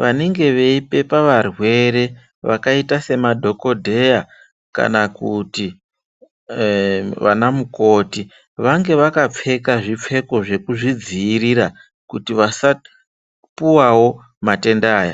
vanenge vaipepa varwere vakaita semadhokoteya kana kuti vana mukoti vange vakapfeke zvipfeko zvekuzvidziirira kuti vasapuwawo matenda aya.